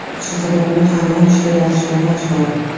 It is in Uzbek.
Shu sababli u haliyam ishga borishga majbur.